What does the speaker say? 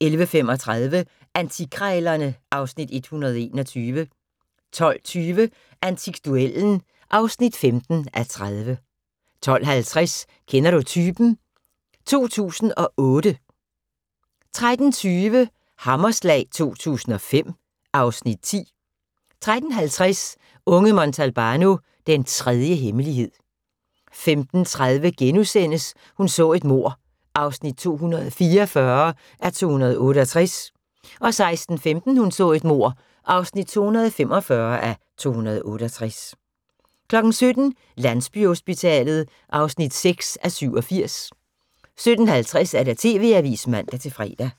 11:35: Antikkrejlerne (Afs. 121) 12:20: Antikduellen (15:30) 12:50: Kender du typen? 2008 13:20: Hammerslag 2005 (Afs. 10) 13:50: Unge Montalbano: Den tredje hemmelighed 15:30: Hun så et mord (244:268)* 16:15: Hun så et mord (245:268) 17:00: Landsbyhospitalet (6:87) 17:50: TV-avisen (man-fre)